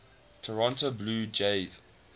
toronto blue jays